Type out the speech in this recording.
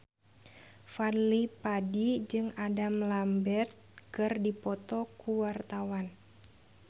Fadly Padi jeung Adam Lambert keur dipoto ku wartawan